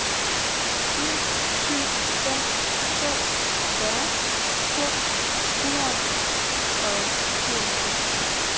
fire syv fem to fyrre to hundrede og syvoghalvfems